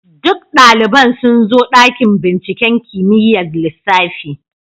Duk daliban sun zo dakin binciken kimiyyar lissafi.